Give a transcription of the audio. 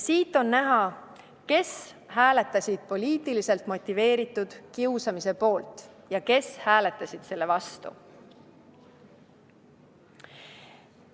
Sellest on näha, kes hääletasid poliitiliselt motiveeritud kiusamise poolt ja kes hääletasid selle vastu.